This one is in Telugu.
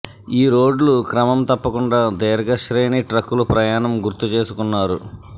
ఈ రోడ్లు క్రమం తప్పకుండా దీర్ఘ శ్రేణి ట్రక్కులు ప్రయాణం గుర్తుచేసుకున్నారు